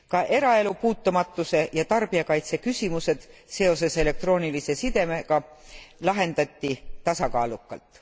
Ka eraelu puutumatuse ja tarbijakaitse küsimused seoses elektroonilise sidega lahendati tasakaalukalt.